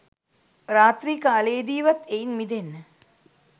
රාත්‍රී කාලයේදීවත් එයින් මිදෙන්න